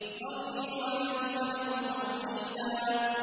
ذَرْنِي وَمَنْ خَلَقْتُ وَحِيدًا